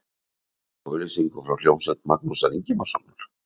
Ég sá auglýsingu frá hljómsveit Magnúsar Ingimarssonar.